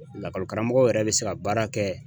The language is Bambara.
Lakɔli karamɔgɔ yɛrɛ bɛ se ka baara kɛ.